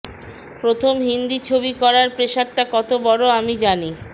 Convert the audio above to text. প্রথম হিন্দি ছবি করার প্রেশারটা কত বড় আমি জানি